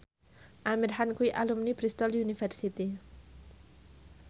Amir Khan kuwi alumni Bristol university